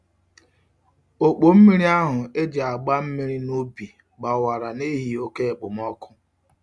Okpo mmiri ahu e ji agba mmiri n'ubi gbawara n'ihi oke okpomoku.